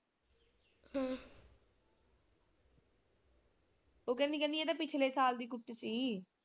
ਉਹ ਕਹਿੰਦੀ ਕਹਿੰਦੀ ਇਹ ਤਾਂ ਪਿਛਲੇ ਸਾਲ ਦੀ ਕੁੱਟੀ ਸੀ।